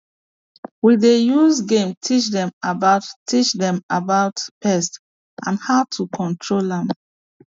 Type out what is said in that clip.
we dey use game teach dem about teach dem about pests and how to control am